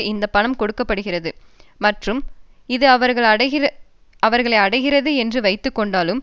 இந்த பணம் கொடுக்க படுகிறது மற்றும் இது அவர்களை அடைகிறது என்று வைத்து கொண்டாலும்